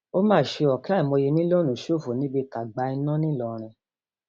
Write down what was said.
ó mà ṣe o ọkẹ àìmọye mílíọnù ṣòfò níbi tágbá iná ńlọrọrìn